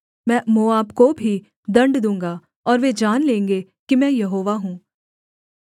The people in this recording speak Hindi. मैं मोआब को भी दण्ड दूँगा और वे जान लेंगे कि मैं यहोवा हूँ